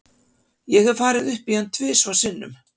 Ég hef farið upp í hann tvisvar sinnum.